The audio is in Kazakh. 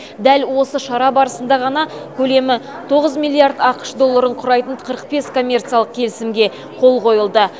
дәл осы шара барысында ғана көлемі тоғыз миллиард ақш долларын құрайтын қырық бес коммерциялық келісімге қол қойылды